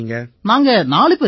நாங்க நாலு பேர் ஐயா